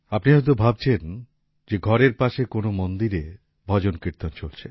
আপনি হয়তো ভাবছেন যে ঘরের পাশে কোন মন্দিরে ভজন কীর্তন চলছে